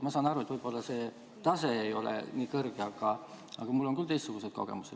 Ma saan aru, et võib-olla see tase ei ole nii kõrge, aga mul on küll teistsugused kogemused.